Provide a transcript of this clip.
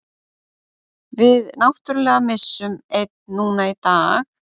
Við náttúrulega missum einn núna í dag.